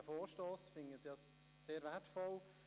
Ich halte ihn für sehr wertvoll.